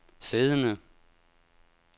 siddende